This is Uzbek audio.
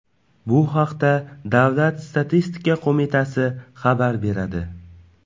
Bu haqda Davlat statistika qo‘mitasi xabar beradi .